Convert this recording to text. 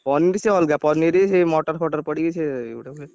Paneer ସିଏ ଅଲଗା paneer ସେଇ ମଟରଫଟର ପଡିକି ସିଏ ଗୋଟେ ହୁଏ।